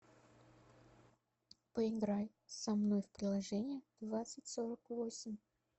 поиграй со мной в приложение двадцать сорок восемь